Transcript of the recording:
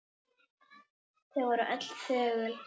Þau voru öll þögul.